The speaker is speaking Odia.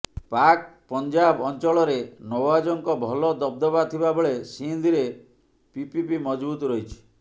ପାକ୍ ପଞ୍ଜାବ ଅଞ୍ଚଳରେ ନଓ୍ୱାଜଙ୍କ ଭଲ ଦବଦବା ଥିବା ବେଳେ ସିନ୍ଧରେ ପିପିପି ମଜବୁତ ରହିଛି